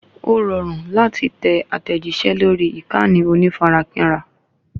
Ó rọrùn láti tẹ àtẹ̀jíṣẹ́ lórí ìkànnì onífarakínra